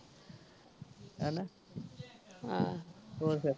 ਹੈਨਾ ਆਹ ਹੋਰ ਫੇਰ